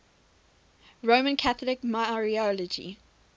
roman catholic mariology